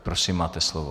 Prosím, máte slovo.